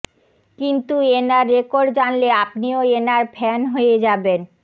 কিন্তু এনার রেকর্ড জানলে আপনিও এনার ফ্যান হয়ে যাবেন